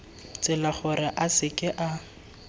tsela gore a seke a